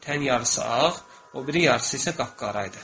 Tən yarısı ağ, o biri yarısı isə qapqara idi.